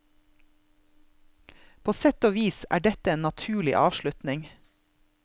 På sett og vis er dette en naturlig avslutning.